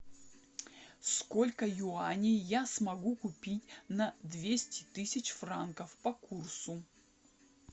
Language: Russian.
сколько юаней я смогу купить на двести тысяч франков по курсу